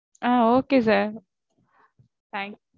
ah ok thanks sir